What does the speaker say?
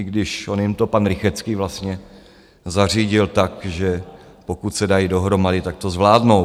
I když on jim to pan Rychetský vlastně zařídil tak, že pokud se dají dohromady, tak to zvládnou.